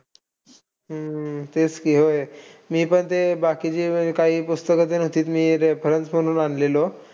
हम्म तेच कि होय. मी पण ते बाकीची अह काही पुस्तकं होती मी reference म्हणून आनलेलो.